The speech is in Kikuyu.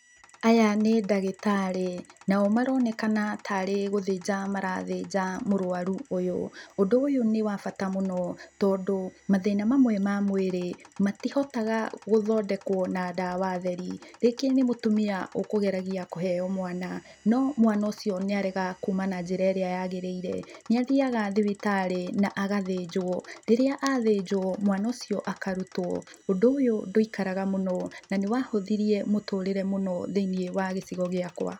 Aya nĩ ndagĩtarĩ, nao maronekana tarĩ gũthĩnja marathĩnja mũrũaru ũyũ. Ũndũ ũyũ nĩ wa bata mũno, tondũ mathĩna mamwe ma mwĩrĩ, matihotaga gũthondekwo na ndawa theri. Rĩngĩ nĩ mũtumia ũkũgeragia kũheo mwana, no mwana ũcio nĩarega kuma na njĩra ĩrĩa yagĩrĩire, nĩathiaga thibitarĩ, na agathĩnjwo. Rĩrĩa athĩnjwo mwana ũcio akarutũo. Ũndũ ũyũ ndũikaraga mũno, na nĩwahũthirie mũtũrĩre mũno thĩiniĩ wa gĩcigo gĩakũa.